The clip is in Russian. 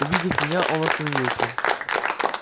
увидев меня он остановился